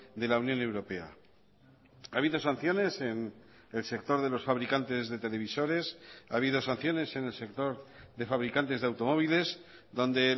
de la unión europea ha habido sanciones en el sector de los fabricantes de televisores ha habido sanciones en el sector de fabricantes de automóviles donde